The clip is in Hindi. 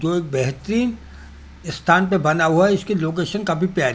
जो एक बहेती स्थान पे बना हुआ है इसकी लोकेशन काफी प्यारी--